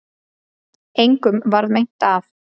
Engum varð meint af